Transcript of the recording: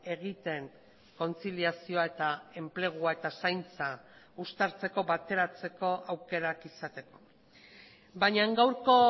egiten kontziliazioa eta enplegua eta zaintza uztartzeko bateratzeko aukerak izateko baina gaurko